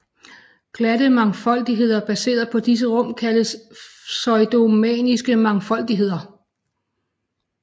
Glatte mangfoldigheder baseret på disse rum kaldes pseudoriemannske mangfoldigheder